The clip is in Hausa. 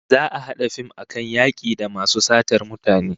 Za'a a hada fim akan yaki da masu satar mutane